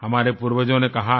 हमारे पूर्वजों ने कहा है